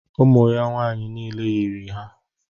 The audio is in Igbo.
Ụmụ ya nwaanyị niile yiri ha.